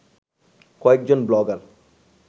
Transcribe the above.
কয়েকজন ব্লগার